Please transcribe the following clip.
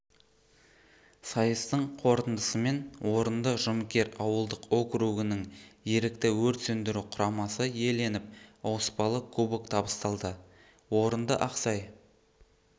сайыстың қорытындысымен орынды жұмыкер ауылдық округінің ерікті өрт сөндіру құрамасы иеленіп ауыспалы кубок табысталды орынды ақсай